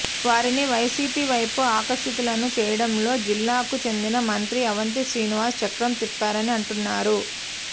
వారిని వైసీపీ వైపు ఆకర్షితులను చేయడంలో జిల్లాకు చెందిన మంత్రి అవంతి శ్రీనివాస్ చక్రం తిప్పారని అంటున్నారు